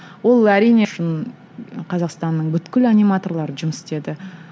ол әрине шын қазақстанның аниматорлары жұмыс істеді